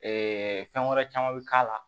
fɛn wɛrɛ caman bi k'a la